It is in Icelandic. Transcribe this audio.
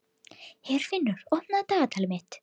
Herfinnur, opnaðu dagatalið mitt.